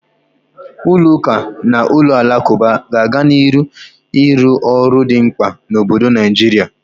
Ụlọ ụka na ụlọ alakụba ga-aga n'ihu na-arụ ọrụ dị mkpa na obodo Naijiria.